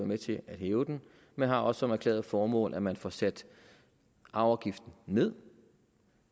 med til at hæve den men har også som erklæret formål at man får sat arveafgiften ned